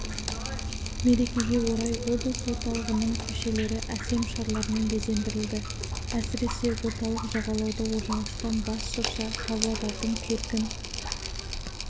мерекеге орай облыс орталығының көшелері әсем шамдармен безендірілді әсіресе орталық жағалауда орналасқан бас шырша павлодардың көркін